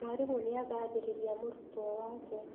Mwarimũ nĩagathĩrĩria mũrutwo wake